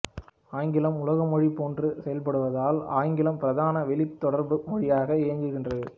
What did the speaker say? ஆங்கிலம் உலக மொழி போன்று செயல்படுவதால் ஆங்கிலம் பிரதான வெளித் தொடர்பு மொழியாக இயங்குகின்றது